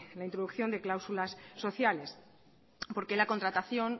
la introducción de cláusulas sociales porque la contratación